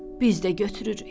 Biz də götürürük.